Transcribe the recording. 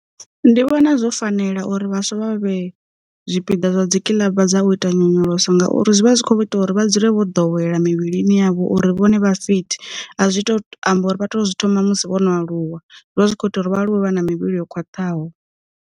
Ndi vhona zwo fanela uri vhaswa vha vhe zwipiḓa zwa dzikiḽaba dza u ita nyonyoloso ngauri, zwi vha zwi kho ita uri vha dzule vho ḓowela mivhilini yavho uri vhone vha fit, a zwi to amba uri vha to zwi thoma musi vho no aluwa zwivha zwi kho ita uri vha aluwe vha na mivhili yo khwaṱhaho.